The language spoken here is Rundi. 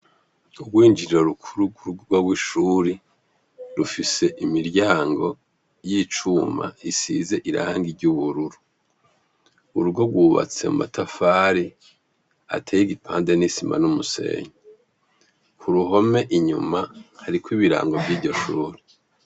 Urwinjiro rukuru rw'urugrwa bw'ishuri rufise imiryango y'icuma isize irangi ry'ubururu urugo rwubatse mu matafari ateye igipande n'isima n'umusenyi ku ruhome inyuma hariko ibirango vy'iryo shuri.